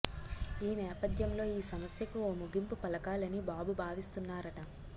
ఈ నేపథ్యంలో ఈ సమస్యకు ఓ ముగింపు పలకాలని బాబు భావిస్తున్నారట